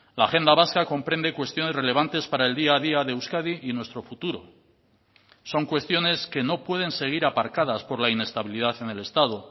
la agenda vasca comprende cuestiones relevantes para el día a día de euskadi y nuestro futuro son cuestiones que no pueden seguir aparcadas por la inestabilidad en el estado